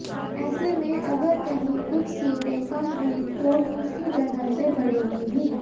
ऐसे में अगर कहीं कुछ सीटें कम हुई तो दूसरी जगह से बढ़ेंगी भी